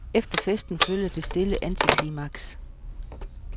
Efter festen følger det stille antiklimaks.